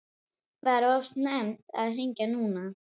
Var of snemmt að hringja núna?